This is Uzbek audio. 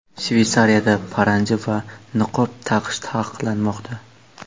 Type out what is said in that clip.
Shveysariyada paranji va niqob taqish taqiqlanmoqda.